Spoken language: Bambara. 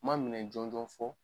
Ma minɛn jɔnjɔn fɔ